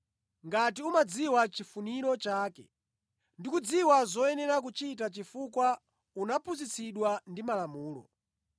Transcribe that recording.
ngati umadziwa chifuniro chake, ndi kudziwa zoyenera kuchita chifukwa unaphunzitsidwa ndi Malamulo;